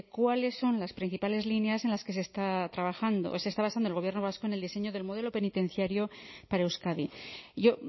cuáles son las principales líneas en las que se está trabajando se está basando el gobierno vasco en el diseño del modelo penitenciario para euskadi y yo